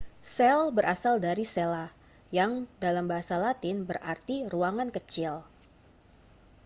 sel berasal dari cella yang dalam bahasa latin berarti ruangan kecil